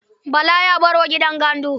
Bala ya baro gidan gandu.